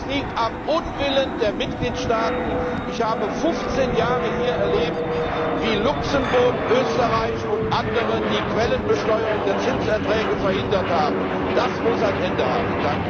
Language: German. Nein, es liegt am Unwillen der Mitgliedstaaten. Ich habe 15 Jahre hier erlebt, wie Luxemburg, Österreich und andere die Quellenbesteuerung der Zinserträge verhindert haben. Das muss ein Ende haben.